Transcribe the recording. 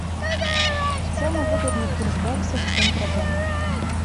самый выгодный курс бакса в центробанке